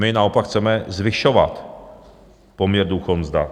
My naopak chceme zvyšovat poměr důchod - mzda.